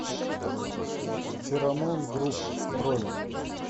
феромон груп бронь